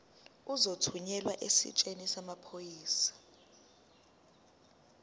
uzothunyelwa esiteshini samaphoyisa